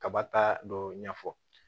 Kaba ta dɔ ɲɛfɔ